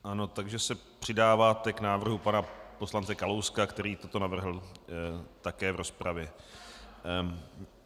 Ano, takže se přidáváte k návrhu pana poslance Kalouska, který toto navrhl také v rozpravě.